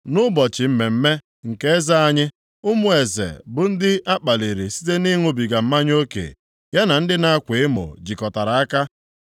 Nʼụbọchị mmemme nke eze anyị, ụmụ eze bụ ndị akpalịrị site na-ịṅụbiga mmanya oke, ya na ndị na-akwa emo jikọtara aka.